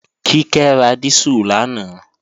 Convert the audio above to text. Kíkẹ́ ra dísù lánàá